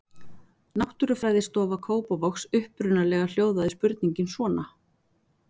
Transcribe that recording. Náttúrufræðistofa Kópavogs Upprunalega hljóðaði spurningin svona: